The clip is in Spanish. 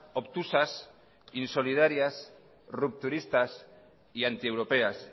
obtusas insolidarias rupturistas y antieuropeas